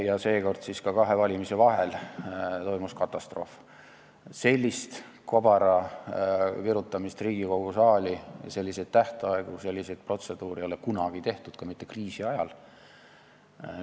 Ja seekord siis ka kahe valimise vahel toimus katastroof, sellist kobara virutamist Riigikogu saali ja selliseid tähtaegu, selliseid protseduure ei ole kunagi tehtud, ka mitte kriisi ajal.